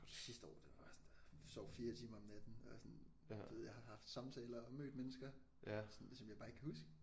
Sidste år der var jeg bare sådan der sov 4 timer om natten og jeg er sådan du ved jeg har haft samtaler og mødt mennesker sådan som jeg bare ikke kan huske